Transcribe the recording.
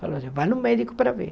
Falei, vai no médico para ver.